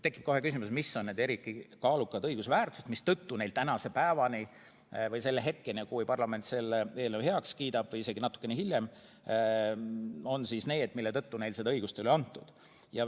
Tekib kohe küsimus, mis on need eriti kaalukad õigusväärtused, mistõttu neile selle hetkeni, kui parlament selle eelnõu heaks kiidab, seda õigust pole antud.